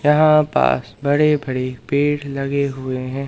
यहां पास बड़े बड़े पेड़ लगे हुए हैं।